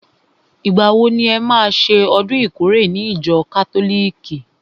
Ìgbà wo ni e má ṣe ọdún ìkórè ní ìjọ kátólìkì?